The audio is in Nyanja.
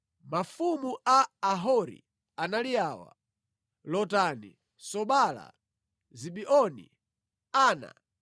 Mafumu a Ahori anali awa: Lotani, Sobala, Zibeoni, Ana,